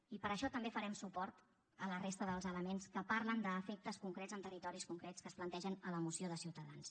i per això també farem suport a la resta dels elements que parlen d’efectes concrets en territoris concrets que es plantegen a la moció de ciutadans